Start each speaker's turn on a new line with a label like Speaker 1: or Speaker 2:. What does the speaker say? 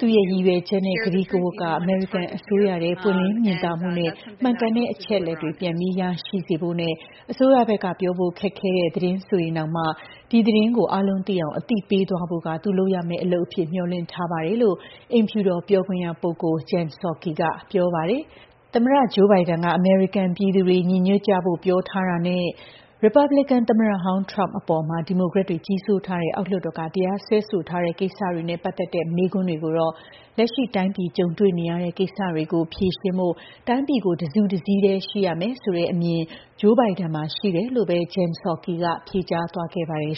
Speaker 1: သူ့ရဲ့ရည်ရွယ်ချက်နဲ့ ကတိကဝတ်က အမေရိကန် အစိုးရထဲ ပွင့်လင်း မြင်သာမှုနဲ့ မှန်ကန်တဲ့ အချက်အလက်တွေ ပြန်ပြီး ရရှိစေဖို့နဲ့ အစိုးရဘက်က ပြောဖို့ ခက်တဲ့ သတင်းဆိုရင်တောင်မှ ဒီ သတင်းကို အားလုံးသိအောင် အသိ ပေးသွားဖို့က သူ လုပ်ရမယ့် အလုပ်အဖြစ် မျှော်လင့်ထားပါတယ်။" လို့ အိမ်ဖြူတော်ပြောခွင့်ရပုဂ္ဂိုလ် Jen Psakiက ပြောပါတယ်။ သမ္မတ Joe Biden က အမေရိကန် ပြည်သူတွေ ညီညွှတ်ကြဖို့ ပြောထားတာနဲ့ ရီပတ်ဘလီကန် သမ္မတဟောင်း ထရမ့်ပ်အပေါ် ဒီမိုကရက်တွေ ကြီးစိုးထားတဲ့ အောက်လွှတ်တော်က တရားစွဲဆိုထားတဲ့ ကိစ္စတွေနဲ့ ပတ်သက်တဲ့ မေးခွန်းတွေကိုတော့ လက်ရှိ တိုင်းပြည် ကြုံတွေ့နေရတဲ့ ကိစ္စတွေကို ဖြေရှင်းဖို့ တိုင်းပြည်ကို တစုတစည်းတည်း ရှိရမယ်ဆိုတဲ့ အမြင် Joe Bide မှာ ရှိတယ်လို့ပဲ Jen Psaki က ဖြေကြားသွားခဲ့ပါတယ်